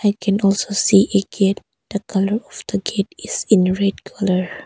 I can also see a gate. The colour of the gate is red colour.